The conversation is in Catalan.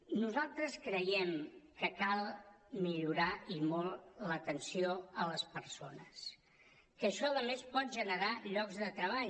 nosaltres creiem que cal millorar i molt l’atenció a les persones que això a més pot generar llocs de treball